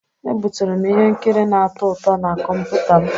Ebuturu m ihe nkiri na-atọ ụtọ na kọmputa m.